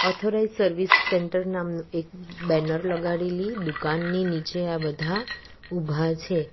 Authorise service centre નામનું એક banner લગાવેલી દુકાનની નીચે આ બધા ઊભા છે.